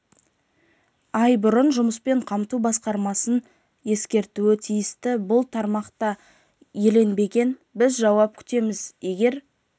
ай бұрын жұмыспен қамту басқармасын ескертуі тиісті бұл тармақ та еленбеген біз жауап күтеміз егер